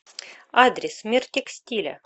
адрес мир текстиля